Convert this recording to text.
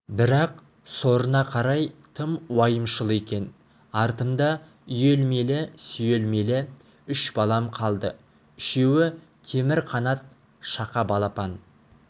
бірақ сорына қарай тым уайымшыл екен артымда үйелмелі-сүйелмелі үш балам қалды үшеуі темір қанат шақа балапан